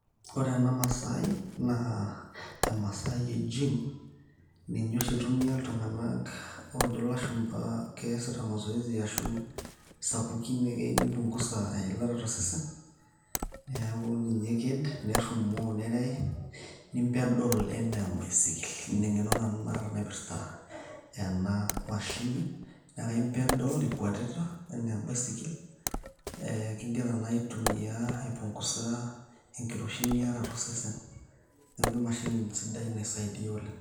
Ore ena masai naa emasai e gym ninye oshi itumia iltung`anak oojo ilashumpa keasita mazoezi ashu sapukin keyieu neiounguza eilata to sesen . Niaku ninye eked nerumoo nerei ni peddle enaa ebaisikil. Ina eng`eno nanu naata naipirta ena mashini naa kai peddel ikwatita enaa baisikil igira naa aitumia aipunguza enkiroshi niata to sesen niaku emashini sidai naisaidia oleng.